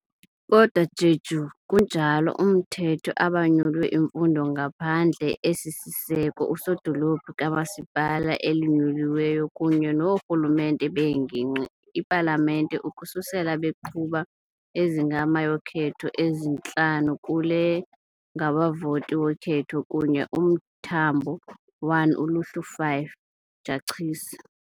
Kodwa Jeju kunjalo mthetho abanyulwe imfundo ngaphandle esisiseko usodolophu kamasipala elinyuliweyo kunye noorhulumente beengingqi ipalamente ukususela baqhuba ezingama yokhetho ezintlanu kule ngabavoti wokhetho kunye umthambo 1 ULUHLU 5, Jachisi